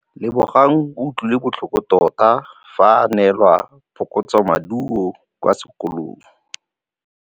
Lebogang o utlwile botlhoko tota fa a neelwa phokotsômaduô kwa sekolong.